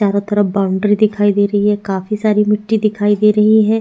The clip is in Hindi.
चारो तरफ बाउंड्री दिखाई दे रही है काफी सारी मिट्टी दिखाई दे रही है।